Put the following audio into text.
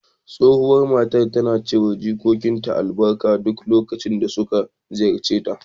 Tsohuwar matar tana shi wa jikokinta albarka duk lokacin da suka ziyarce ta.